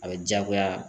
A bɛ diyagoya